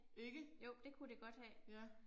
Ikke? Ja